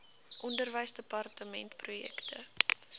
onderwysdepartementprojekte